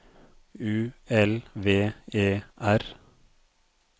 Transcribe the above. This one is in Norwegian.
U L V E R